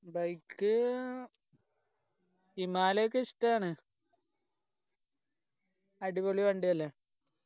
bike ഏർ himalaya ഒക്കെ ഇഷ്ടാണ് അടിപൊളി വണ്ടി അല്ലെ